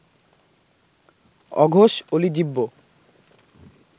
অঘোষ অলিজিহ্ব্য